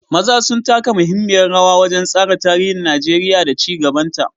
maza sun taka muhimmiyar rawa wajen tsara tarihin Najeriya da ci gabanta.